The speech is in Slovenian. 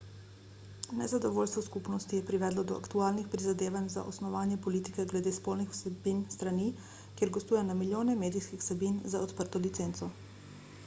nezadovoljstvo skupnosti je privedlo do aktualnih prizadevanj za osnovanje politike glede spolnih vsebin strani kjer gostuje na milijone medijskih vsebin z odprto licenco